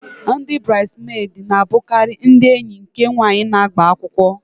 Ndị burides medi na abukari ndị enyi nke nwanyị na-agba akwụkwọ